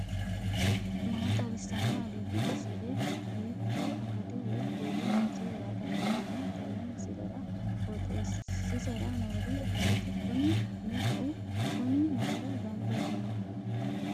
maa xawissanno aliidi misile ? hiitto akati woy kuuli noose yaa dandiinanni tenne misilera? qooxeessisera noori maati? kuni me''u kuni mayra gamba yiinnoho